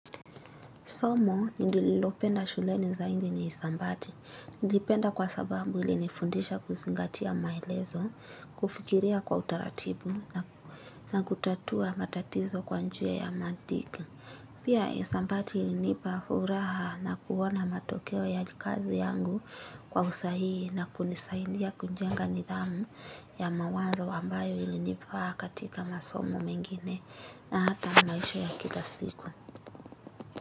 Somo, ndililopenda shule ni zaingi ni isambati. Ndipenda kwa sababu ili inifundisha kuzingatia maelezo, kufikiria kwa utaratibu na kutatua matatizo kwa njia ya mantiki. Pia hisabati hunipa furaha na kuona matokeo ya kazi yangu kwa usahihi na kunisaidia kujenga nidhamu ya mawazo ambayo ilinifaa katika masomo mengine na hata maisha ya kila siku.